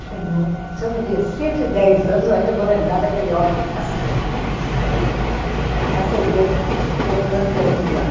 Se eu viver cento e dez anos, eu ainda vou lembrar daquele homem acendendo o lampião de gás.